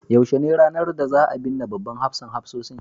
yaushe ne ranar da za a binne babban hafsan hafsoshin